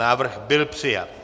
Návrh byl přijat.